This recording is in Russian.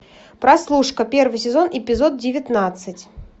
прослушка первый сезон эпизод девятнадцать